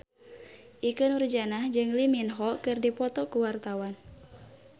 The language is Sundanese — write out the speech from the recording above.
Ikke Nurjanah jeung Lee Min Ho keur dipoto ku wartawan